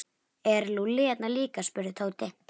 Er Lúlli hérna líka? spurði Tóti.